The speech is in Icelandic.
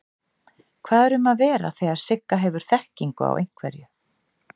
Hvað er um að vera þegar Sigga hefur þekkingu á einhverju?